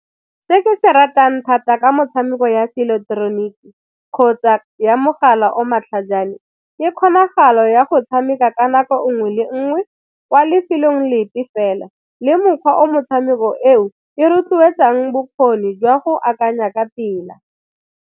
Se ke se ratang thata ke motshameko ya seileketeroniki kgotsa ya mogala o matlhajana ke kgonagalo ya go tshameka ka nako nngwe le nngwe kwa lefelong lepe fela le mokgwa o motshameko eo e rotloetsang bokgoni jwa go akanya ka pela.